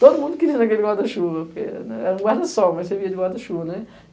Todo mundo queria ir naquele guarda-chuva, porque era um guarda-sol, mas servia de guarda-chuva, né?